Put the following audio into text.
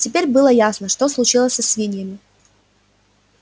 теперь было ясно что случилось со свиньями